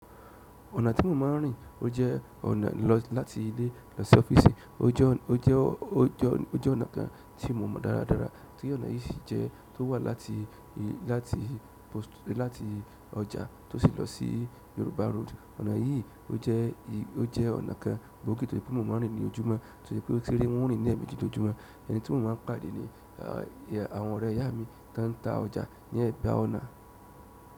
Ọ̀nà tí mo máa ń rìn, ó jẹ́ ọ̀nà lọ láti ilé lọ sí ọ́fíìsì, ó jẹ́, ó jẹ́, o jẹ́ ọ̀nà kan tí mo mo dáradára, tí ọ̀nà yí sì jẹ́ tó wá láti láti post, láti ọjà tó sì lọ sí yorùbá road. Ọ̀nà yìí ò jẹ́ ọ̀nà kan gbòógì tó ṣe pé mo máa ń rìn ní ojúmọ́, tó ṣe pé o ti ń rìn leemeeji lójúmọ́ ẹni tí mo máa ń pàdé ní àwọn ọ̀rẹ́ ìyá mi tan ta ọjà ní ẹ̀bà ọ̀nà.